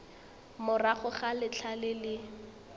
morago ga letlha le le